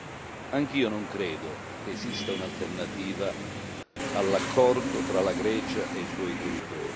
Neppure io credo che esista un'alternativa all'accordo tra la Grecia e i suoi creditori.